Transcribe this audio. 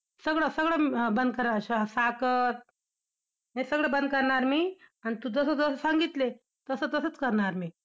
सगळं सगळं म~ बंद करणार, साखर हे सगळं बंद करणार मी, अन तू जसं जसं सांगितलंस, तसं तसंच करणार मी!